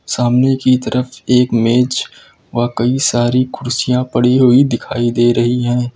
सामने की तरफ एक मेज और कई सारी कुर्सियां पड़ी हुई दिखाई दे रही हैं।